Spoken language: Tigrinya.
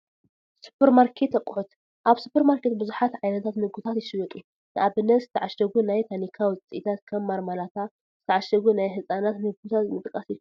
ሱፐርማርኬት ኣቕሑት፡- ኣብ ሱፐርማርኬት ብዙሓት ዓይነታት ምግብታት ይሽየጡ፡፡ ንኣብነት ዝተዓሸጉ ናይ ታኒካ ውፅኢታት ከም ማርማላታ፣ ዝተዓሸጉ ናይ ህፃናት ምግብታትን ምጥቃስ ይካኣል፡፡